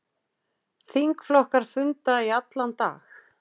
Þingflokkar funda í allan dag